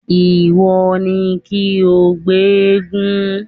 Ìwọ ni kí o gbé eégún!